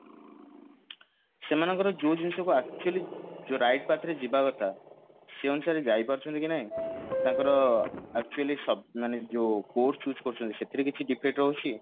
ସେମାନଙ୍କର ଯଉ ଜିନିଷକୁ actually ଯଉ right ବାଟରେ ଯିବା କଥା ସେଇ ଅନୁସାରେ ଯାଇପାରୁଛନ୍ତି କି ନାହିଁ ତାଙ୍କର actually ସବ ମାନେ ଯୋ course choose କରୁଛନ୍ତି ସେଥିରେ କିଛି defect ରହୁଛି